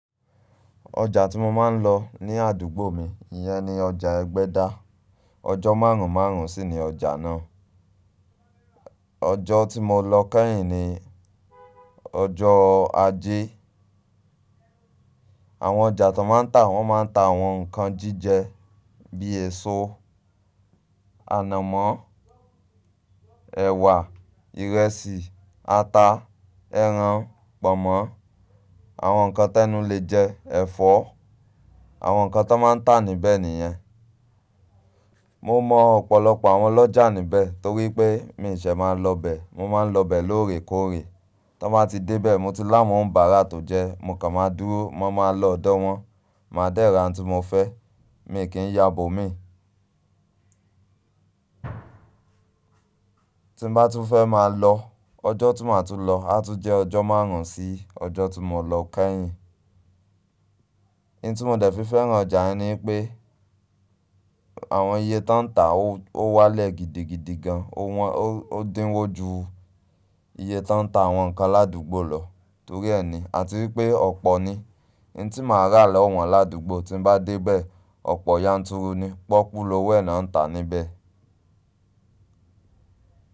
Ọjà tí mo máa ń lọ ní àdúgbò mi, ìyẹn ni ọjà Ẹgbẹ́dá. Ọjọ́ márùn-ún márùn-ún sì ni ọjà náà. Ọjọ́ tí mo lọ kẹ́yìn ni ọjọ́ ajé. Àwọn ọjà tón máa ń tà, wọ́n máa ń ta àwọn nǹkan jíjẹ bíi èso, ànàmọ́, ẹ̀wà, ìrẹsì, ata, ẹran, pọ̀nmọ́, àwọn nǹkan tẹ́nu le jẹ, ẹ̀fọ́, àwọn nǹkan tón máa ń tà níbẹ̀ nìyẹn. Mo mọ ọ̀pọ̀lọpọ̀ àwọn ọlọ́jà níbẹ̀ torí pé mi ò ṣe máa lọ bẹ̀, mo máa ń lọ bẹ̀ lóòrèkóòrè. Ton ba ti de be mo ti lawon on'baara to je, mo kan maa dúró, mo maa lo odo won, maa de ra oun ti mo fe, mi i ki n ya ibo mii tí n bá tún fẹ́ máa lọ, ọjọ́ tí màá tún lọ á tún jẹ́ ọjọ́ maarun sí ọjọ́ tí mo lọ kẹ́yìn. N ti mo de fi fẹ́ràn ọjà yen ni wípé àwọn iye ton taa o wale gidigidi gan, o din wo ju ìye tóń ta àwọn nǹkan ládùgbò lọ torí ẹ̀ ni, àti wípé ọ̀pọ̀ ni. N tí màá rà lọ̀wọ̀n ládùgbò tí n bá dé bẹ̀, ọ̀pọ̀ yànturu ni, pọ́okú lówo ẹ̀ náà ń tà níbẹ̀.